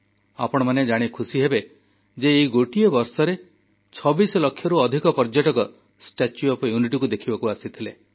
ଆପଣମାନେ ଜାଣି ଖୁସିହେବେ ଯେ ଏଇ ଗୋଟିଏ ବର୍ଷ ଭିତରେ ଛବିଶ ଲକ୍ଷରୁ ଅଧିକ ପର୍ଯ୍ୟଟକ ଷ୍ଟାଚ୍ୟୁ ଅଫ ୟୁନିଟିକୁ ଦେଖିବାକୁ ଆସିଥିଲେ